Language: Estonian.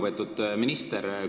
Väga lugupeetud minister!